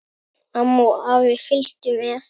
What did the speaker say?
Amma og afi fylgdu með.